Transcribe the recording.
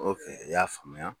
i y'a faamuya.